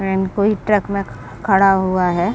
Van कोई truck में खड़ा हुआ है।